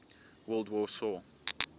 world war saw